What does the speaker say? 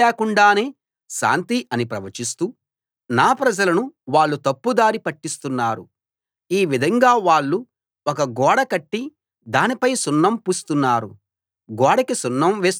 శాంతి లేకుండానే శాంతి అని ప్రవచిస్తూ నా ప్రజలను వాళ్ళు తప్పుదారి పట్టిస్తున్నారు ఈ విధంగా వాళ్ళు ఒక గోడ కట్టి దానిపై సున్నం పూస్తున్నారు